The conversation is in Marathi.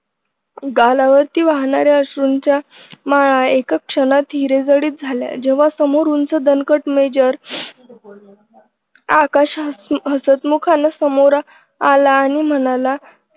गालावरती वाहणाऱ्या अश्रूंच्या माळा एका क्षणात हिरेजडित झाल्या जेव्हा समोर उंच दणकट मेजर आकाश हसतमुखानं समोर आला आणि म्हणाला